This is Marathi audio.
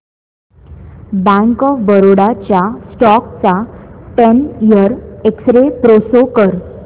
बँक ऑफ बरोडा च्या स्टॉक चा ten year X-ray pro show कर